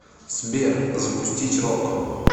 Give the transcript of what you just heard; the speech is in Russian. сбер запустить рок